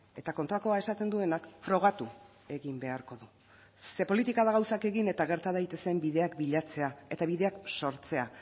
eta kontrakoa esaten duenak frogatu egin beharko du ze politika da gauzak egin eta gerta daitezen bideak bilatzea eta bideak sortzea